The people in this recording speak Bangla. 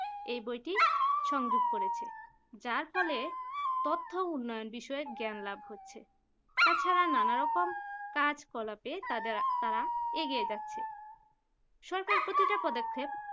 এই বইটি সংযোগ করেছেন যার ফলে তথ্য উন্নয়ন বিষয়ক জ্ঞান লাভ হচ্ছে তাছাড়া নানা রকম কাজকলাপের তাদের তারা এগিয়ে যাচ্ছে সরকার প্রীতিটা পদক্ষেপ